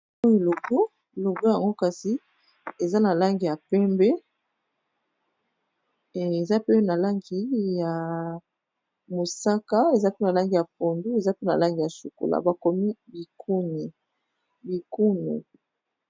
Oyo logo. Logo yango kasi eza na langi ya pembe, eza pe na langi ya mosaka, eza pe na langi ya pondu, eza pe na langi ya chocolat, ba komi Bikunu.